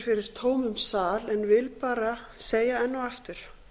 tómum sal en vil bara segja enn og aftur